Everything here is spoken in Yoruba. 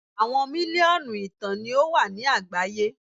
Awọn miliọnu ìtàn ni o wa ni agbaye